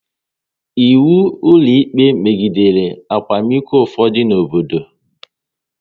Ịwu ụlọikpe megidere akwamiko n'ufodu obodo